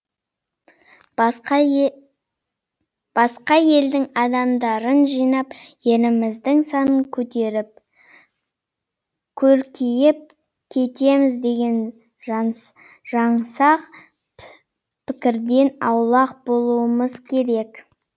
басқа елдің адамдарын жинап еліміздің санын көтеріп көркейіп кетеміз деген жаңсақ пікірден аулақ болуымыз керек